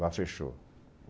Lá fechou.